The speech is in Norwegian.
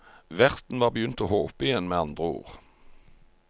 Verten var begynt å håpe igjen, med andre ord.